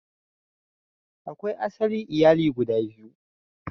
Akwai asali iyali guda biyu.